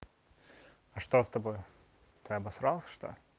а что с тобой ты обасрался что